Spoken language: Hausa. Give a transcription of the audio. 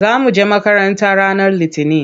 Za mu je makaranta ranar Litinin.